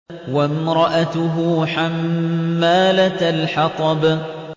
وَامْرَأَتُهُ حَمَّالَةَ الْحَطَبِ